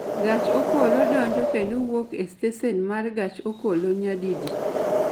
gach okolo donjo kendo wuok e stesen ma gach okolo nyadipi